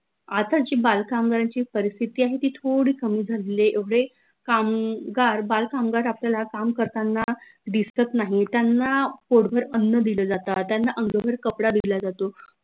आता जी बाल कामगारांची परिस्थिती आहे ती थोडी कमी झालेली आहे एवढे कामगार बाल कामगार आपल्याला काम करतांना दिसत नाहीत त्यांना पोटभर अन्न दिल जात त्यांना अंग भर कापड दिला वाजतो